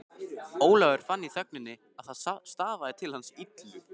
Ólafur fann í þögninni að það stafaði til hans illu.